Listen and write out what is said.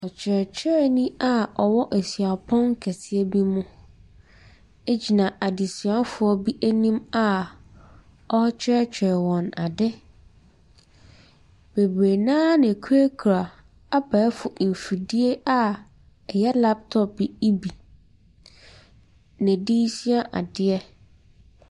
Kyerɛkyerɛni a ɔwɔ suapɔn kɛseɛ bi mu gyina adesuafoɔ bi anim a ɔrekyerɛkyerɛ wɔn ade. Bebree no ara na wɔkurakura abɛɛfo mfidie a ɛyɛ laptop yi bi na wɔde resua adeɛ.